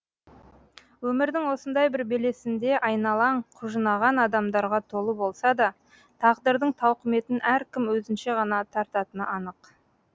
өмірдің осындай бір белесінде айналаң құжынаған адамдарға толы болса да тағдырдың тауқыметін әркім өзінше ғана тартатыны анық